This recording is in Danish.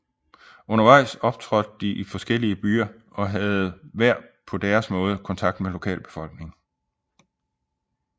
Undervejs optrådte de i forskellige byer og havde hver på deres måde kontakt med lokalbefolkningen